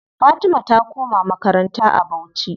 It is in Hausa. Fatima ta koma makaranta a bauchi.